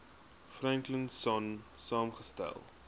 franklin sonn saamgestel